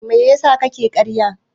Me yasa kake ƙarya?